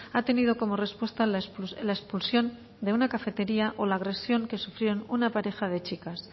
ha tenido como respuesta la expulsión de una cafetería o la agresión que sufrieron una pareja de chicas